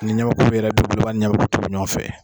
Ni ɲɛmɛku yɛrɛ bi bolo a b'a ni ɲɛmɛku tobi ɲɔgɔn fɛ